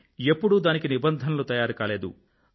కానీ ఎప్పుడూ దానికి నిబంధనలు తయారుకాలేదు